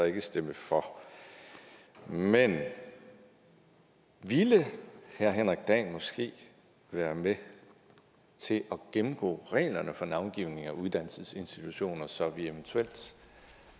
ikke stemme for men ville herre henrik dahl måske være med til at gennemgå reglerne for navngivning af uddannelsesinstitutioner så vi eventuelt